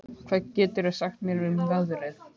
Rósborg, hvað geturðu sagt mér um veðrið?